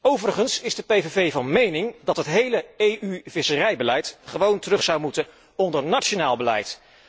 Overigens is de PVV van mening dat het hele EU visserijbeleid gewoon terug zou moeten onder nationaal beleid.